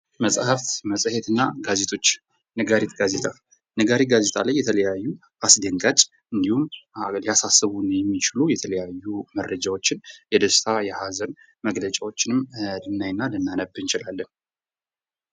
መጽሐፍ መጽሄትና ጋዜጦች ነጋሪት ጋዜጣ ነጋሪት ጋዜጣ ላይ የተለያዩ አስደንጋጭ እንዲሁም ሊያሳስቡን የሚችሉ የተለያዩ መረጃዎችን የሀዘን የደስታ መግለጫዎችንም ልናይና ልናነብ እንችላለን።